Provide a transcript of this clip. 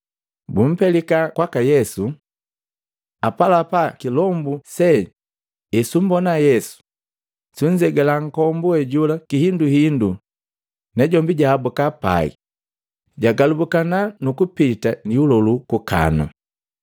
Bumpelika kwaka Yesu. Apalapa kilombu se esumbona Yesu, sunzegala nkombu wejola kihinduhindu na jombi jaabuka pai, jagalubukana nukupita lihuluhulu kukanu,